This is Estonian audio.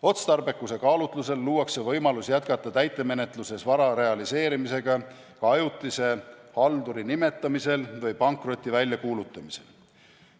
Otstarbekuse kaalutlusel luuakse võimalus jätkata täitemenetluses vara realiseerimisega ka ajutise halduri nimetamisel või pankroti väljakuulutamisel.